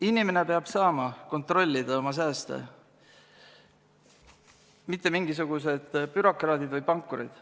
Inimene peab saama kontrollida oma sääste, mitte mingisugused bürokraadid või pankurid.